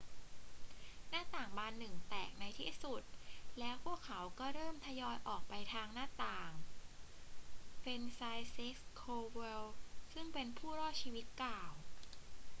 หน้าต่างบานหนึ่งแตกในที่สุด แล้วพวกเขาก็เริ่มทยอยออกไปทางหน้าต่าง franciszek kowal ซึ่งเป็นผู้รอดชีวิตกล่าว